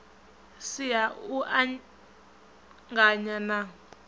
si ha u anganya na